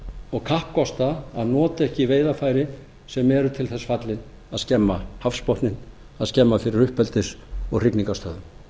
og kappkosta að nota ekki veiðarfæri sem eru til þess fallin að skemma hafsbotninn að skemma fyrir uppeldis og hrygningarstöðvum